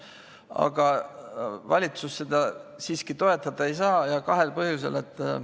Aga valitsus seda siiski toetada ei saa ja seda kahel põhjusel.